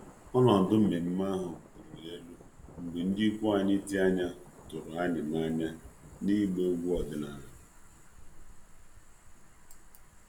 Ọnọdụ nmenme ahụ buliri elu mgbe ndị ikwu anyị dị anya tụrụ anyị n'anya n'ịgba egwu ọdịnala.